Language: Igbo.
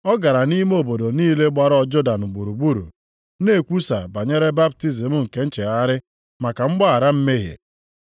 Ọ gara nʼime obodo niile gbara Jọdan gburugburu na-ekwusa banyere baptizim nke nchegharị maka mgbaghara mmehie.